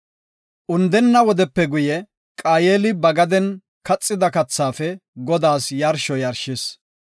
Undenna wodepe guye, Qaayeli ba gaden kaxida kathaafe Godaas yarsho yarshis.